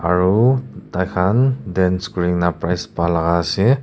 aro taikan dance kurina prize palaga ase.